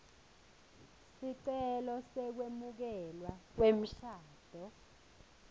sicelo sekwemukelwa kwemshado